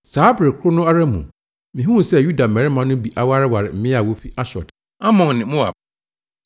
Saa bere koro no ara mu, mihuu sɛ Yuda mmarima no bi awareware mmaa a wofi Asdod, Amon ne Moab.